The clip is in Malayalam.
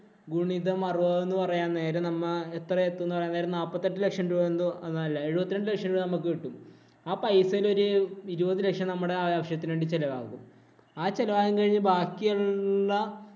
ഗുണിതം അറുപത് എന്ന് പറയാൻ നേരം നമ്മ എത്ര നാൽപ്പത്തിഎട്ടു ലക്ഷം രൂപ എന്തോ അല്ലേ എഴുപത്തി രണ്ടു ലക്ഷം രൂപ നമ്മക്ക് കിട്ടും. ആ പൈസയില്‍ ഒരു ഇരുപത് ലക്ഷം നമ്മുടെ ആവശ്യത്തിനു വേണ്ടി ചെലവാകും. ആ ചെലവാകലും കഴിഞ്ഞു ബാക്കിയൊള്ള